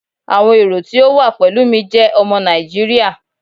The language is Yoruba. Awọn ero ti o wa pẹlu mi jẹ ọmọ Naijiria